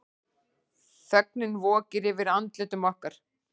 Þögnin vokir yfir andlitum okkar.